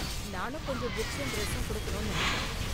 நானும் கொஞ்சம் புக்ஸும் டிரஸும் கொடுக்கணும்னு நினைச்சேன்.